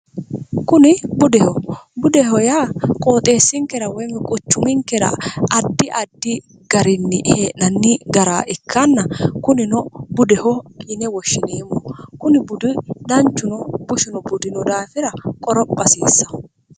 kuni budeho budeho yaa qooxeessinkera woymi quchuminkera addi addi garinni hee'nanni gara ikkanna kunino budeho yine woshshiniimo kuni budu danchuno bushino budino daafira qorophasiissa